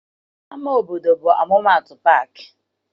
Ama obodo bụ ọmụmaatụ paakị